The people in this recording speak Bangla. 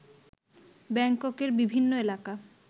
ব্যাংককের বিভিন্ন এলাকা